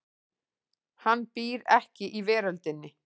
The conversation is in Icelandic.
Hann býr ekki í veröldinni.